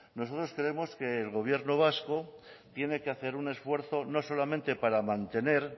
nosotros creemos que el gobierno vasco tiene que hacer un esfuerzo no solamente para mantener